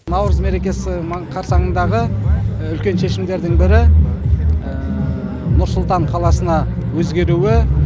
наурыз мерекесі қарсаңындағы үлкен шешімдердің бірі нұр сұлтан қаласына өзгеруі